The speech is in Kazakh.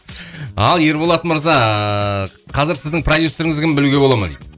ал ерболат мырза қазір сіздің продюссеріңіз кім білуге бола ма дейді